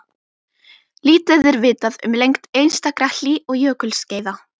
Lítið er vitað um lengd einstakra hlý- og jökulskeiða.